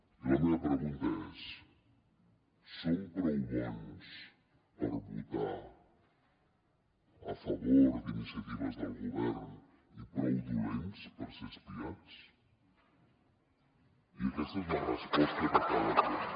i la meva pregunta és som prou bons per votar a favor d’iniciatives del govern i prou dolents per ser espiats i aquesta és la resposta que cal aclarir